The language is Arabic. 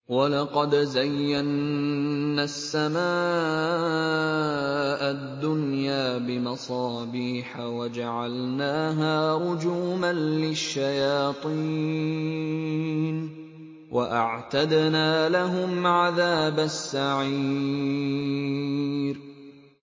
وَلَقَدْ زَيَّنَّا السَّمَاءَ الدُّنْيَا بِمَصَابِيحَ وَجَعَلْنَاهَا رُجُومًا لِّلشَّيَاطِينِ ۖ وَأَعْتَدْنَا لَهُمْ عَذَابَ السَّعِيرِ